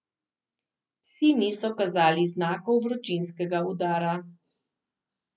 Psi niso kazali znakov vročinskega udara.